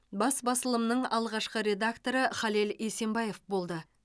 бас басылымның алғашқы редакторы халел есенбаев болды